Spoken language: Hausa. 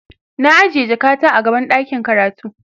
na ajiye jakata a gaban ɗakin karatu